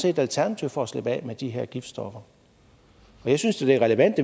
et alternativ for at slippe af med de her giftstoffer og jeg synes da det er relevant